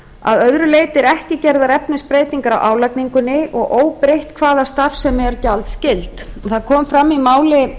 að öðru leyti eru ekki gerðar efnisbreytingar á álagningunni og óbreytt hvaða starfsemi er gjaldskyld það kom fram í máli